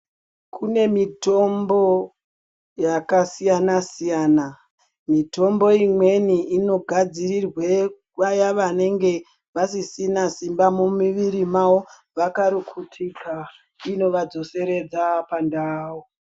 Kune mitombo yakasiyana siyana mitombo imweni inogadzirirwa vaya vanenge vasisina simba mumuviri mavo vakarukutika inova dzoseredza pandau.